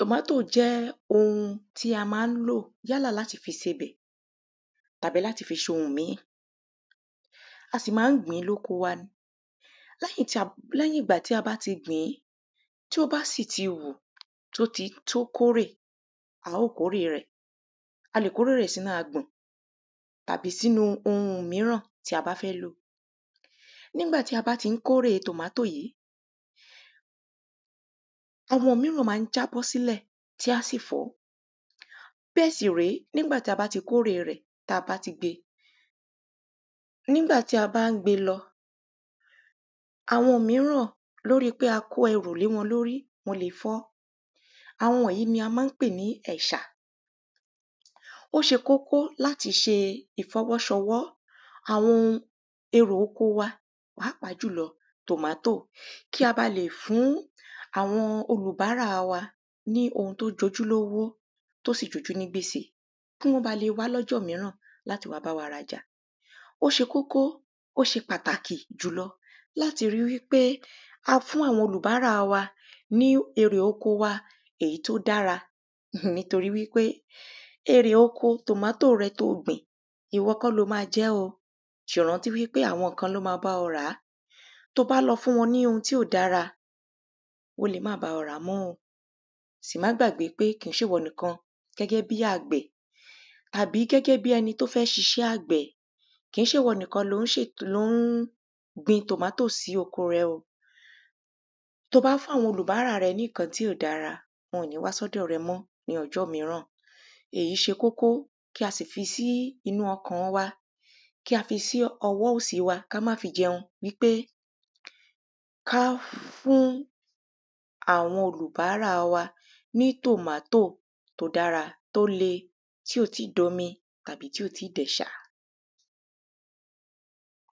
Tomatoe jẹ́ oun tí a máa ń lò yálà láti fi ṣe ọbẹ̀ tàbí láti fi ṣe oun ìmíì A sì máa ń gbìn ín ní oko wa ni Lẹ́yìn ìgbà tí a bá tí gbìn ín tí ó bá sì ti hù tí ó ti tó kórè a óò kórẹ̀ rẹ̀ A lè kórè rẹ̀ sínú agbọ̀n tàbí sínú oun mìíràn tí a bá fẹ́ lò Nígbà tí a bá tí ń kórè tomatoe yìí àwọn mìíràn máa ń jábọ́ sílẹ̀ tí á sì fọ́ Bẹ́ẹ̀ sì rèé nígbà tí a bá tí kórè rẹ̀ tí a ti gbe nígbà tí a bá ń gbe lọ àwọn mìíràn lórí pé a kó ẹrù lé wọn lórí wọ́n lè fọ́ Àwọn wọ̀nyìí ni a máa ń pè ní ẹ̀ṣà Ó ṣe kókó láti ṣe ìfọwọ́ṣọwọ́ àwọn oun èrè oko wa pàápàá jùlọ tomatoe kí á ba lè fún àwọn olùbárà wa ní oun tí ó jojú lówó tí ó sì jojú ní gbèsè Kí wọ́n bá lè wá ní ọjọ́ mìíràn láti wá bá wa ra ọjà Ó ṣe kókó ó ṣe pàtàkì jùlọ láti ri wípé a fún àwọn olùbárà wa ní èrè oko wa èyí tí ó dára um nítorí wípé èrè oko tomatoe rẹ tí o gbìn ìwọ kọ́ ni o ma jẹ́ o Sì rántí wípé àwọn kan ni ó ma bá ọ rà á Tí o bá lọ fún wọn ní oun tí ò dára wọ́n lè má bá ọ rà mọ́ o Sì má gbàgbé pé kìí ṣe ìwọ nìkan gẹ́gẹ́ bíi àgbẹ̀ tàbí gẹ́gẹ́ bíi ẹni tí ó fẹ́ ṣiṣẹ́ àgbẹ̀ kìí ṣe ìwọ nìkan tí ó ṣe t ni ó ń gbin tomatoe sí oko rẹ o Tí o bá fún àwọn olùbárà rẹ ní nǹkan tí ò dára wọ́n ò ní wá sí ọ̀dọ̀ rẹ mọ́ ní ọjọ́ mìíràn Èyí ṣe kókó kí a sì fi sí inú ọkàn wa Kí á fi sí ọwọ́ òsì wa kí á má fi jẹun wípé kí a fún àwọn olùbárà wa ní tomatoe tí ó dára tí ó lè tí ò tíì di omi tàbí tí ò tíì di ẹ̀ṣà